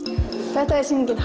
þetta er sýningin